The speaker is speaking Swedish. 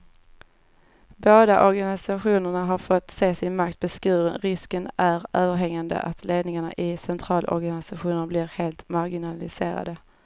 Båda organisationerna har fått se sin makt beskuren, risken är överhängande att ledningarna i centralorganisationerna blir helt marginaliserade.